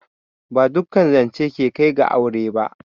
Ba duƙƙan zanche ke Kai ga aure ba.